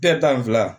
tan ni fila